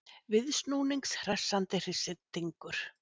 Viðsnúnings hressandi hristingur.